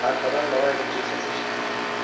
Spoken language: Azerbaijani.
Arxadan Lalayevin cır səsi eşidildi.